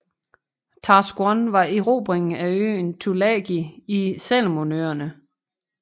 Task One var erobringen af øen Tulagi i Salomonøerne